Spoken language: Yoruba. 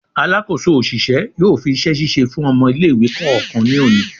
Alakoso oṣiṣẹ yóò fi iṣẹ-ṣiṣe fún ọmọ ile-iwe kọọkan ní oni